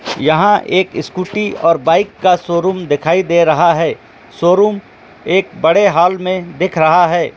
यहां पर एक स्कूटी और एक बाइक का शोरूम दिखाई दे रहा है शोरूम एक बड़े हॉल में दिख रहा है।